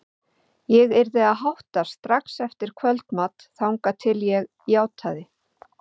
Ég yrði að hátta strax eftir kvöldmat þangað til ég játaði.